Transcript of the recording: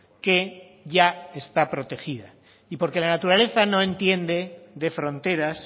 que ya está protegida y porque la naturaleza no entiende de fronteras